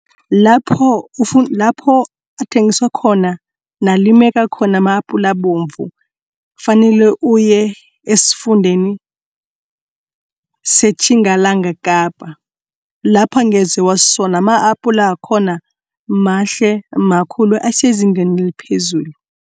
Lapho lapho athengiswa khona nalimeka khona ma-apula ebovu. Kufanele uye esifundeni seTjingalanga Kapa lapho angeze wazisola ama-apula wakhona mahle makhulu asezingeni eliphezulu.